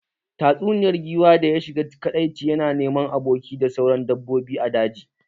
Tatsuniyar giwa da ya shiga kadaici yana neman abokai da sauran dabbobi a daji